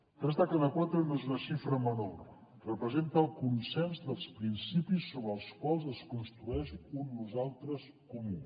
tres de cada quatre no és una xifra menor representa el consens dels principis sobre els quals es construeix un nosaltres comú